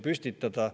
Ja see ongi õige.